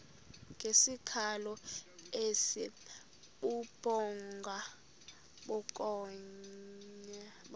ngesikhalo esibubhonga bukhonya